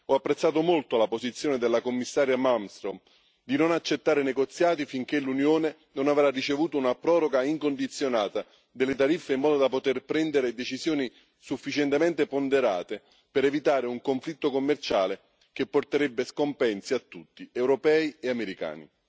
Ho apprezzato molto la posizione della Commissaria Malmström di non accettare negoziati finché l'Unione non avrà ricevuto una proroga incondizionata delle tariffe, in modo da poter prendere decisioni sufficientemente ponderate per evitare un conflitto commerciale che porterebbe scompensi a tutti, europei e americani.